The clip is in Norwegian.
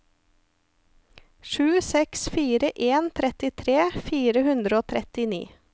sju seks fire en trettitre fire hundre og trettini